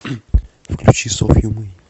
включи софью мей